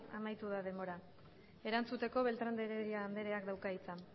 amaitu da denbora erantzuteko beltrán de heredia andreak dauka hitza